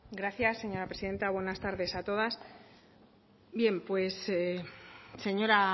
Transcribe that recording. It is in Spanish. gracias señora presidenta buenas tardes a todas bien